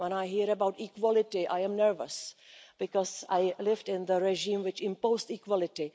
When I hear about equality, I am nervous because I lived in the regime which imposed equality.